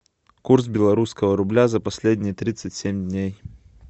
курс белорусского рубля за последние тридцать семь дней